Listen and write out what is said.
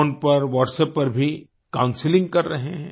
phone पर WhatsApp पर भी काउंसलिंग कर रहे हैं